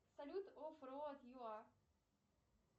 салют оф роад ю а